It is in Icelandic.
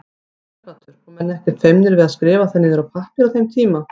Sighvatur: Og menn ekkert feimnir við að skrifa það niður á pappír á þeim tíma?